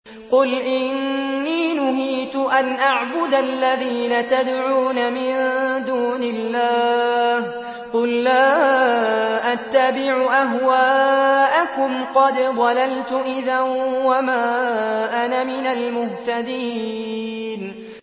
قُلْ إِنِّي نُهِيتُ أَنْ أَعْبُدَ الَّذِينَ تَدْعُونَ مِن دُونِ اللَّهِ ۚ قُل لَّا أَتَّبِعُ أَهْوَاءَكُمْ ۙ قَدْ ضَلَلْتُ إِذًا وَمَا أَنَا مِنَ الْمُهْتَدِينَ